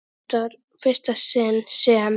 Þetta var í fyrsta sinn sem